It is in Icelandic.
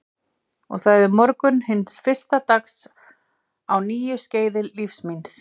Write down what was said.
Og það er morgunn hins fyrsta dags á nýju skeiði lífs míns.